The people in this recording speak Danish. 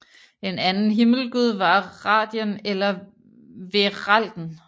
En anden himmelgud var Radien eller Vearalden